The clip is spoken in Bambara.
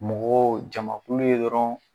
Mɔgɔ jamakulu ye dɔrɔn.